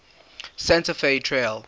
santa fe trail